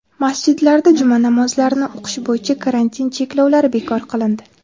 Masjidlarda juma namozlarini o‘qish bo‘yicha karantin cheklovlari bekor qilindi.